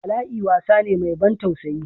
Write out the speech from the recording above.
Bala'i wasa ne mai ban tausayi.